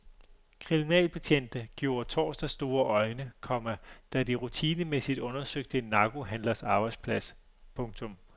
Kriminalbetjente gjorde torsdag store øjne, komma da de rutinemæssigt undersøgte en narkohandlers arbejdsplads. punktum